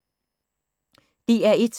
DR1